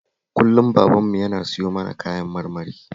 Kullum babanmu yana siyo mana kayan marmari